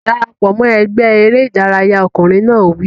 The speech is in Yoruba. Dara pọ̀ mọ́ ẹgbẹ́ eré ìdárayá! Ọkùnrin náà wí.